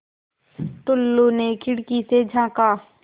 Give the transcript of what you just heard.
टुल्लु ने खिड़की से झाँका